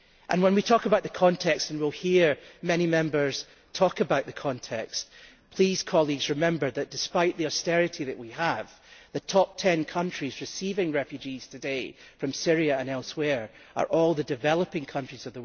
When we talk about the context and we will hear many Members talk about the context please remember that, despite the austerity that we have, the top ten countries receiving refugees today from Syria and elsewhere are all among the world's developing countries.